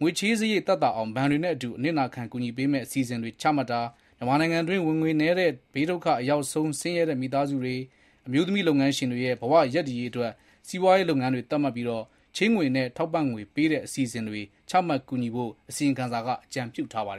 ငွေချေးစရိတ်သက်သာအောင်နဲ့ ဘဏ်တွေနဲ့အတူ အနစ်နာခံ ကူညီပေးမယ့် အစီအစဉ်တွေ ချမှတ်တာ၊ မြန်မာနိုင်ငံအတွင်း ဝင်ငွေနည်းတဲ့ ဘေးဒုက္ခအရောက်ဆုံး ဆင်းရဲတဲ့ မိသားစုတွေ၊ အမျိုးသမီး လုပ်ငန်းရှင်တွေ ရဲ့ ဘဝရပ်တည်ရေးအတွက် စီးပွားရေးလုပ်ငန်းတွေ သတ်မှတ်ပြီး ချေးငွေနဲ့ ထောက်ပံ့ငွေ ပေးတဲ့ အစီအစဉ်တွေ ချမှတ် ကူညီဖို့ အစီရင်ခံစာက အကြံပြုထားပါတယ်